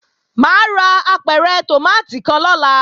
Mà á ra apẹ̀rẹ̀ tòmátì kan lọ́la